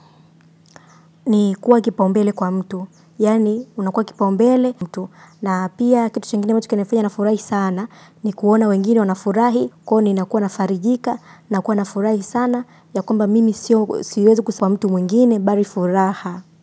Ni kuwa kipaumbele kwa mtu. Yaani unakuwa kipaumbele mtu. Na pia kitu chingine ambacho kinafanya nafurahi sana ni kuona wengine wanafurahi. Kwa hiyo ninakuwa nafarijika. Nakuwa nafurahi sana. Ya kwamba mimi siwezi kusema mtu mwingine. Bari furaha.